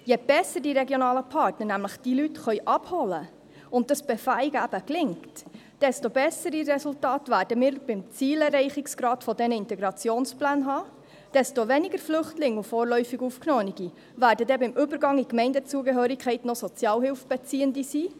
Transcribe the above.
Je besser die regionalen Partner diese Leute nämlich abholen können und dieses Befähigen eben gelingt, desto bessere Resultate werden wir beim Zielerreichungsgrad der Integrationspläne haben, und desto weniger Flüchtlinge und vorläufig Aufgenommene werden beim Übergang in die Gemeindezugehörigkeit dann noch Sozialhilfebeziehende sein.